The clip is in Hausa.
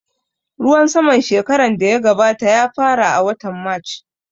Ruwan saman shekaran da ya gabata ya fara a watan march